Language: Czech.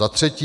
Za třetí.